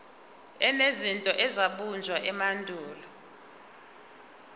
enezinto ezabunjwa emandulo